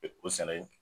O sɛnɛ